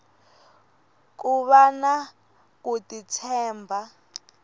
ku vana ku ti tshemba